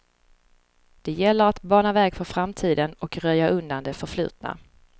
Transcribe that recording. Det gäller att bana väg för framtiden och röja undan det förflutna.